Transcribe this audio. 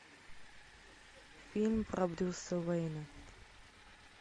фильм про брюса уэйна